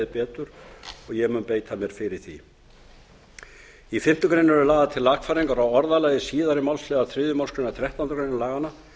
betur og ég mun beita mér fyrir því í fimmtu greinar eru lagðar til lagfæringar á orðalagi síðari málsliðar þriðju málsgrein þrettándu greinar laganna